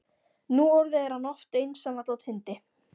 Núorðið er hann oft einsamall á tindi